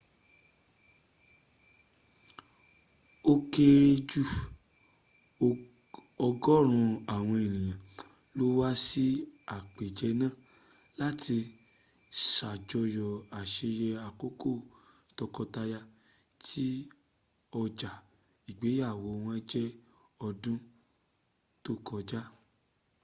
ó kéré jù ọgọ́rún àwọn ènìyàn ló wá sí àpèjẹ náà láti ṣàjọyọ àṣeyẹ àkọ́kọ́ tókọtaya tí ọja ìgbeyàwó wọ́n jẹ ọdún tó kọjá